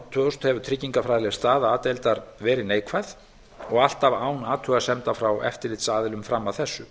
þúsund hefur tryggingafræðileg staða a deildar verið neikvæð og alltaf án athugasemda frá eftirlitsaðilum fram að þessu